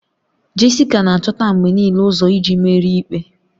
Jessica na-achọta mgbe niile ụzọ iji merie ikpe